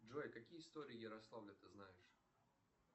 джой какие истории ярославля ты знаешь